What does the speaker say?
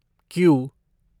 Q